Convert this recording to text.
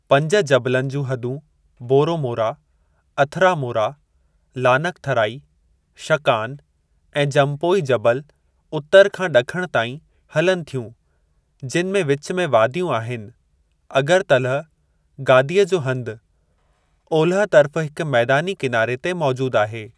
पंज जबलनि जूं हदूं बोरोमोरा, अथरामोरा, लानगथराई, शकान ऐं जमपोई जबल उतरु खां ॾखणु ताईं हलनि थियूं, जिनि में विचु में वादियूं आहिनि; अगरतलह, गादीअ जो हंधि, ओलह तर्फ़ हिकु मैदानी किनारे ते मौजूद आहे।